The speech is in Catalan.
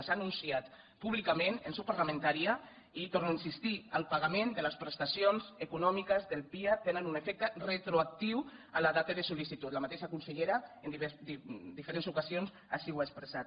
s’ha anunciat públicament en seu parlamentària i hi tor no a insistir el pagament de les prestacions econòmiques del pia tenen un efecte retroactiu a la data de sol·licitud la mateixa consellera en diferents ocasions així ho ha expressat